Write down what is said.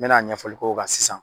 N mɛna ɲɛfɔli k'o kan sisan.